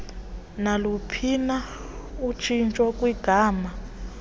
naluphina utshintsho kwigama